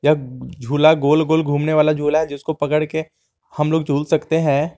झूला गोल गोल घूमने वाला झूला है जिसको पकड़के हम लोग झूल सकते हैं।